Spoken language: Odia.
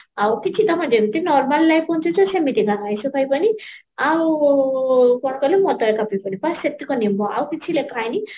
ଆଉ କିଛି ଯେମତି normal ସେମିତି ଆଇଁଷ ଖାଇବାନି ଆଉ କଣ କହିଲା ମଦ ପିବନି ବାସ ସେତକ ନିୟମ ଆଉ କିଛି ଲେଖା ହେଇନି